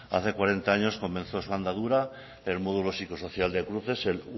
hace cuarenta años comenzó su andadura el módulo psicosocial de cruces el